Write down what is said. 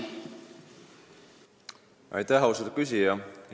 Aitäh, austatud küsija!